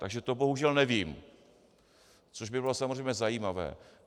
Takže to bohužel nevím, což by bylo samozřejmě zajímavé.